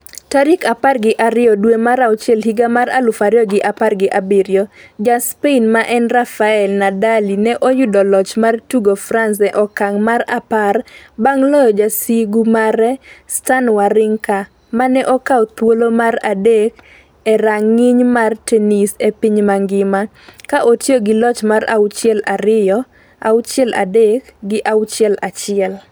tarik apar gi ariyo dwe mar auchiel higa mar aluf ariyo gi apar gi abiriyo .Ja Spain ma en Rafael Nadali ne oyudo loch mar tugo France e okang' mar apar bang' loyo jasigu mare Stan Warrinka, mane okaw thuolo mar adek e rang'iny mar tennis e piny mangima, ka otiyo gi loch mar auchiel ariyo, auchiel adek, gi auchiel achiel